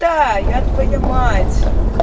да я твоя мать